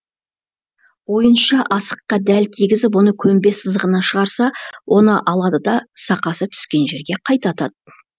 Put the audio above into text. ойыншы асыққа дәл тигізіп оны көнбе сызығына шығарса оны алады да сақасы түскен жерден қайта атады